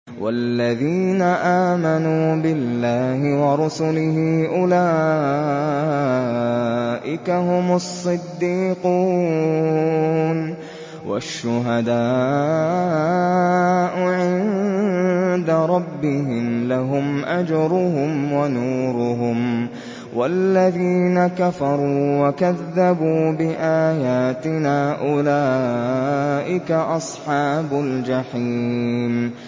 وَالَّذِينَ آمَنُوا بِاللَّهِ وَرُسُلِهِ أُولَٰئِكَ هُمُ الصِّدِّيقُونَ ۖ وَالشُّهَدَاءُ عِندَ رَبِّهِمْ لَهُمْ أَجْرُهُمْ وَنُورُهُمْ ۖ وَالَّذِينَ كَفَرُوا وَكَذَّبُوا بِآيَاتِنَا أُولَٰئِكَ أَصْحَابُ الْجَحِيمِ